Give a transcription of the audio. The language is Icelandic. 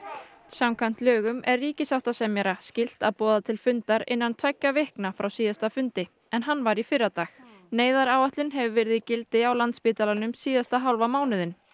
samkvæmt lögum er ríkissáttasemjara skylt að boða til fundar innan tveggja vikna frá síðasta fundi en hann var í fyrradag neyðaráætlun hefur verið í gildi á Landspítalanum síðasta hálfa mánuðinn